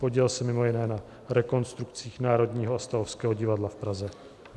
Podílel se mimo jiné na rekonstrukcích Národního a Stavovského divadla v Praze.